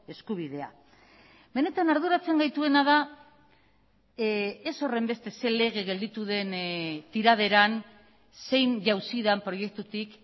eskubidea benetan arduratzen gaituena da ez horrenbeste zer lege gelditu den tiraderan zein jauzi den proiektutik